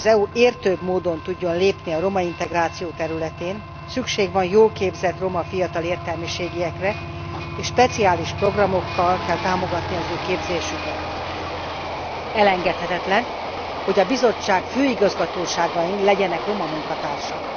Ahhoz, hogy az EU értőbb módon tudjon lépni a romaintegráció területén, szüksége van jól képzett fiatal roma értelmiségiekre és speciális programokkal kell támogatnia a képzésüket. Elengedhetetlen, hogy a Bizottság főigazgatóságain legyenek roma munkatársak.